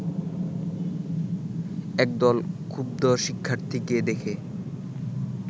একদল ক্ষুব্ধ শিক্ষার্থীকে দেখে